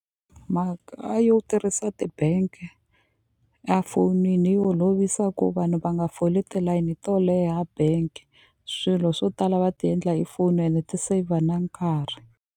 Mhaka yo tirhisa ti bank a fonini yi holovisa ku vanhu va nga foli tilayini to leha bank swilo swo tala va ti endla hi foni ene ti-saver na nkarhi.